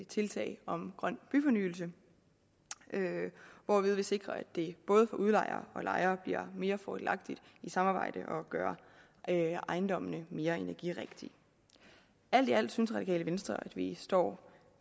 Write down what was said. tiltag om grøn byfornyelse hvorved vi sikrer at det både for udlejere og lejere bliver mere fordelagtigt i samarbejde at gøre ejendommene mere energirigtige alt i alt synes radikale venstre at vi står